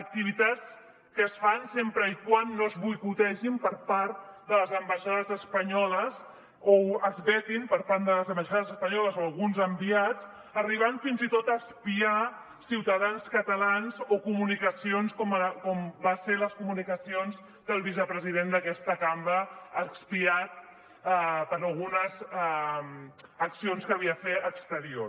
activitats que es fan sempre que no es boicotegen per part de les ambaixades espanyoles o es veten per part de les ambaixades espanyoles o alguns enviats en que s’arriba fins i tot a espiar ciutadans catalans o comunicacions com van ser les comunicacions del vicepresident d’aquesta cambra espiat per algunes accions que havia fet exterior